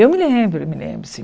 Eu me lembro, me lembro sim.